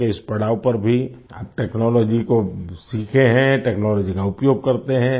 उम्र के इस पड़ाव पर भी आप टेक्नोलॉजी को सीखे हैं टेक्नोलॉजी का उपयोग करते है